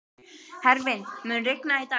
Hervin, mun rigna í dag?